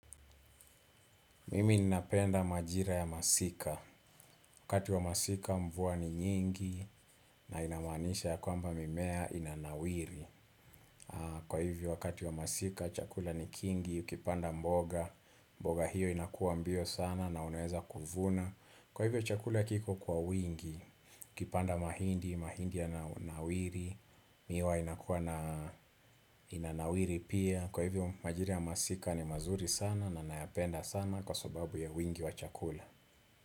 Mimi ninapenda majira ya masika. Wakati wa masika mvua ni nyingi na inamaanisha ya kwamba mimea inanawiri Kwa hivyo wakati wa masika chakula ni kingi Ukipanda mboga mboga hiyo inakuwa mbio sana na unaweza kuvuna Kwa hivyo chakula kiko kwa wingi Ukipanda mahindi, mahindi yananawiri Miwa inakuwa na inanawiri pia Kwa hivyo majira ya masika ni mazuri sana na nayapenda sana kwa sababu ya wingi wa chakula.